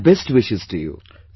My best wishes to you